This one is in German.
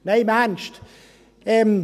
Spass beiseite.